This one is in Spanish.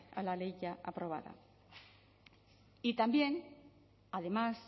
a la ley ya aprobada y también además